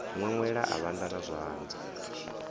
ṅweṅwela a vhanda na zwanḓa